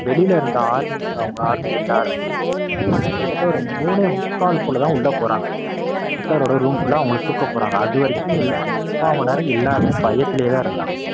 வெளியில இருந்த armies அவங்க army எல்லாருமே அவங்க army எல்லாருமே கிட்டத்தட்ட ஒரு மூணே முக்கால் போல தான் உள்ள போறாங்க. ஹிட்லரோட room குள்ள அவங்கள தூக்கப்போறாங்க அதுவரைக்கும் முக்கால்மணி நேரம் எல்லாரும் பயத்துலேயே தான் இருந்தாங்க.